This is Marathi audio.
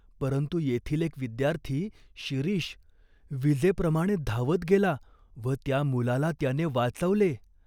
परंतु येथील एक विद्यार्थी, शिरीष, विजेप्रमाणे धावत गेला व त्या मुलाला त्याने वाचवले.